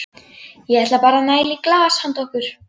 Ég ætla bara að næla í glas handa okkur.